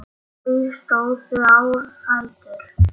Þau stóðu á fætur.